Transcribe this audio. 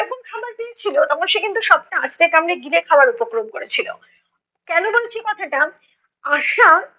খাবার পেয়েছিলো, তখন সে কিন্তু সবটা আছড়ে কামড়ে গিলে খাবার উপক্রম করেছিলো। কেনো বলছি কথাটা, আশা